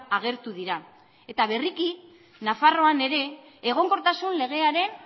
agertu dira eta berriki nafarroan ere egonkortasun legearen